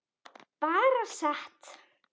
Bara sat.